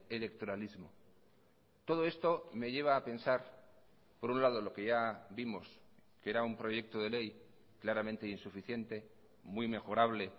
electoralismo todo esto me lleva a pensar por un lado lo que ya vimos que era un proyecto de ley claramente insuficiente muy mejorable